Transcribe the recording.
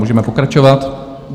Můžeme pokračovat.